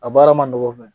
A baara ma nɔgɔn fɛnɛ